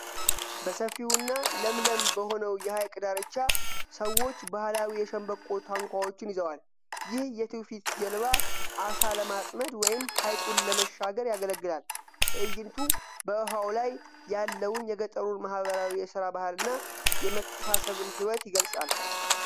በሰፊውና ለምለም በሆነው የሐይቅ ዳርቻ፣ ሰዎች ባህላዊ የሸምበቆ ታንኳዎችን ይዘዋል። ይህ የትውፊት ጀልባ ዓሣ ለማጥመድ ወይም ሐይቁን ለመሻገር ያገለግላል። ትዕይንቱ በውሃው ላይ ያለውን የገጠሩን ማኅበራዊ የሥራ ባህልና የመተሳሰብን ሕይወት ይገልጻል።